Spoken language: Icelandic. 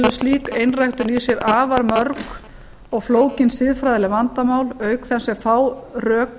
afar mörg og flókin siðfræðileg vandamál auk þess sem fá rök